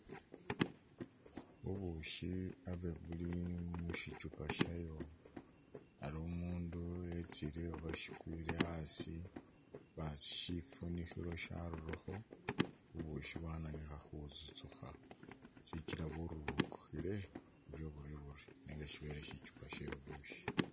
Bubushi aba buli mu shichupa shayo ari umundu wetsile uba shikwile asi basi shifunikhilo sharurakho bubushi bwananikha khutsutsukha shikila bwirurukikhile buryo buryo buryo nenga shibele shichupa sye bubusyi.